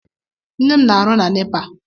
Nne m na-arụ na NEPA.